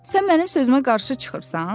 Sən mənim sözümə qarşı çıxırsan?